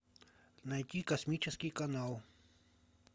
найти космический канал